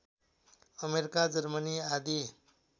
America Germany आदि